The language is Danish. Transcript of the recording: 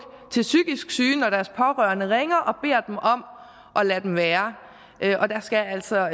til psykisk syge når deres pårørende ringer og beder dem om at lade dem være og der skal altså